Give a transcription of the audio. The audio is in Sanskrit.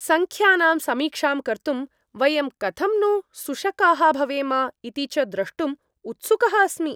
सङ्ख्यानां समीक्षां कर्तुं, वयं कथं नु सुशकाः भवेम इति च द्रष्टुं उत्सुकः अस्मि।